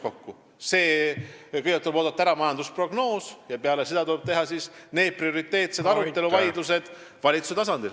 Kõigepealt tuleb ära oodata majandusprognoos ja peale seda tuleb teha prioriteetsed arutelud ja vaidlused valitsuse tasandil.